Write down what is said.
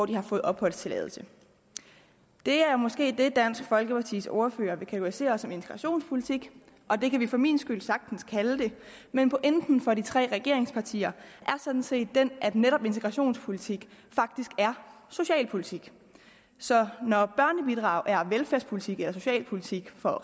de har fået opholdstilladelse det er måske det dansk folkepartis ordfører vil kategorisere som integrationspolitik og det kan vi for min skyld sagtens kalde det men pointen for de tre regeringspartier er sådan set den at netop integrationspolitik faktisk er socialpolitik så når børnebidrag er velfærdspolitik eller socialpolitik for